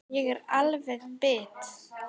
Ég er alveg bit!